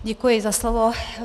Děkuji za slovo.